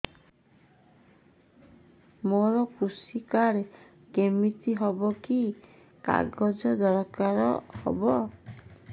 ମୋର କୃଷି କାର୍ଡ କିମିତି ହବ କି କି କାଗଜ ଦରକାର ହବ